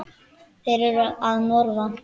Þeir eru að norðan.